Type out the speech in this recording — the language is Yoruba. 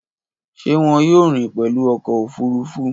Ṣe wọn yoo rin pẹlu ọkọ ofurufu?